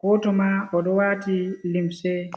gooto maa, o ɗo waati limse.